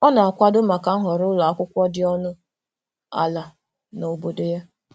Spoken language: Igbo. Ọ na-akwado maka nhọrọ ụlọ akwụkwọ dị ọnụ ala na obodo ya.